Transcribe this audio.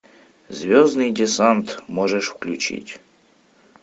звездный десант можешь включить